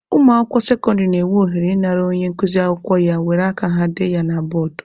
Ụmụakwụkwọ sekọndịrị na-enwe ohere ị nara onye nkuzi akwụkwọ ya were aka ha dee ya na bọọdụ.